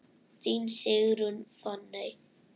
Þín Sigrún Fanney.